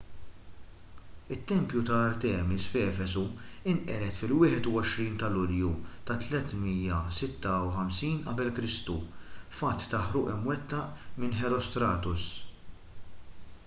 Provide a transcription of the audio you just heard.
it-tempju ta' artemis f'efesu nqered fil-21 ta' lulju tat-356 qek f'att ta' ħruq imwettaq minn herostratus